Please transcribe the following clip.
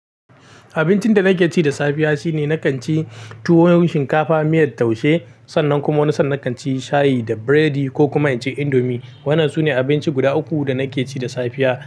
Abincin da nake ci da safiya shine nakan ci tuwon shinkafa, miyar taushe sannan kuma wani san nakan ci shayi da biredi ko kuma in ci indomi. Wannnan sune abinci guda uku da nake ci da safiya.